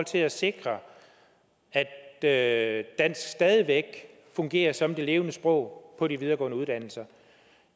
til at sikre at dansk stadig væk fungerer som det levende sprog på de videregående uddannelser